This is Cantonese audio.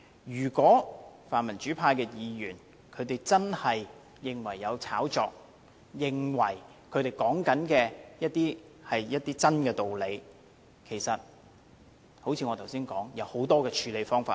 如果泛民主派的議員真的認為有操控，認為他們所說的是事實，其實有很多的處理方法。